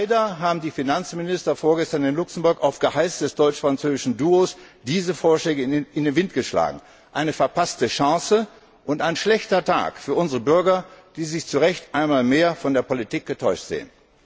Leider haben die Finanzminister vorgestern in Luxemburg auf Geheiß des deutsch französischen Duos diese Vorschläge in den Wind geschlagen eine verpasste Chance und ein schlechter Tag für unsere Bürger, die sich zu Recht einmal mehr von der Politik getäuscht sehen.